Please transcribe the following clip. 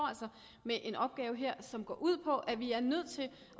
med en opgave her som går ud på at vi er nødt til at